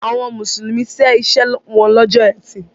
Àwọn Mùsùlùmí ṣe iṣẹ́ wọn lọ́jọ́ Ẹtì.